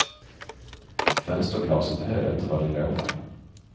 Fönsterglaset höll inte vad det lovade.